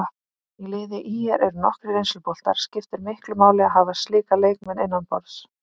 Í liði ÍR eru nokkrir reynsluboltar, skiptir miklu máli að hafa slíka leikmenn innanborðs?